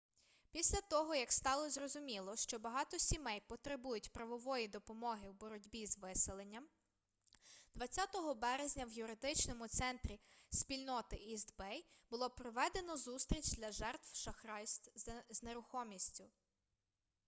після того як стало зрозуміло що багато сімей потребують правової допомоги у боротьбі з виселенням 20 березня у юридичному центрі спільноти іст бей було проведено зустріч для жертв шахрайств з нерухомістю